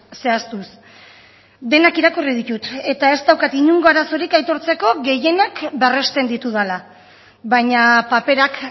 zehaztuz denak irakurri ditut eta ez daukat inongo arazorik aitortzeko gehienak berresten ditudala baina paperak